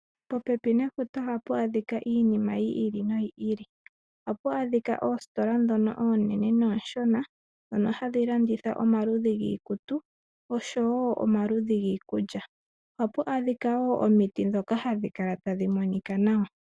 Popepi nefuta oha pu adhika iinima yili noyili, apu adhika oositola dhoka onene noshona, dhono hadhi landitha omaludhi giikutu oshowo omaludhi giikulya. Apu adhika wo omiti dhoka hadhi kala adhi monika nawa.